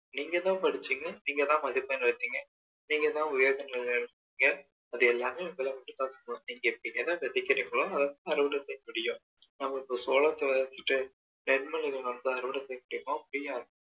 நீங்க தான் படிச்சீங்க நீங்க தான் மதிப்பெண் எடுத்தீங்க நீங்க தான் உயர்ந்த நிலையில இருக்கீங்க அது எல்லாமே உங்கள மட்டும் தான் சேரும் நீங்க என்ன விதைக்கிறீங்களோ அதை தான் அருவடை செய்ய முடியும் நம்ம இப்போ சோலத்த விதைச்சிட்டு தென்னைய வந்து அருவடை செய்ய முடியுமா முடியாது